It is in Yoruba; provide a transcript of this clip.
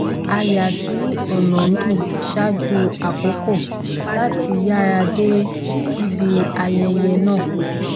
a yà sí ònà míì ṣáájú àkókò láti yára dé síbi ayẹyẹ náà